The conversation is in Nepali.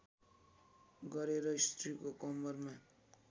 गरेर स्त्रीको कमरमा